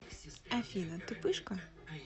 афина ты пышка